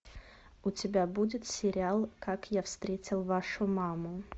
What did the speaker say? у тебя будет сериал как я встретил вашу маму